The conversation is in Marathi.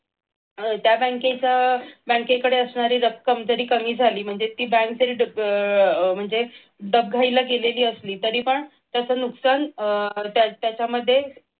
अह त्या बँकेचं बँकेकडे असणारी रक्कम जरी कमी झाली तरी म्हणजे ती बँक अह म्हणजे दबघहीला गेली तरी गेलेली असली तरीपण त्याच नुकसान त्याच्यामध्ये